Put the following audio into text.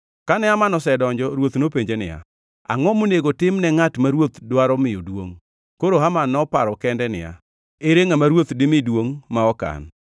Kane Haman osedonjo, ruoth nopenje niya, “Angʼo monego tim ne ngʼat ma ruoth dwaro miyo duongʼ?” Koro Haman noparo kende niya, “Ere ngʼama ruoth dimi duongʼ ma ok an?”